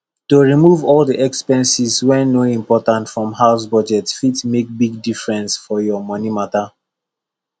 to remove all the expenses wey no important from house budget fit make big difference for your money matter